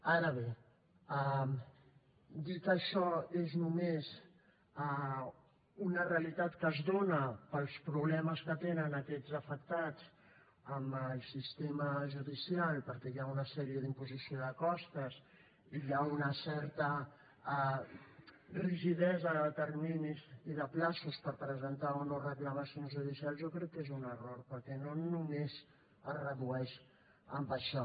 ara bé dir que això és només una realitat que es dóna pels problemes que tenen aquests afectats amb els sistema judicial perquè hi ha una sèrie d’imposició de costes i hi ha una certa rigidesa de terminis per presentar o no reclamacions judicials jo crec que és un error perquè no només es redueix a això